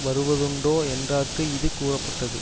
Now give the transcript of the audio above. வருவதுண்டோ என்றார்க்கு இது கூறப்பட்டது